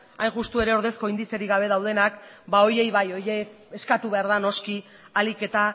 hain justu ere ordezko indizerik gabe daudenak ba horiei bai horiei eskatu behar da noski ahalik eta